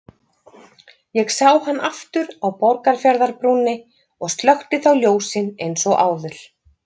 Ég sá hann aftur á Borgarfjarðarbrúnni og slökkti þá ljósin eins og áður.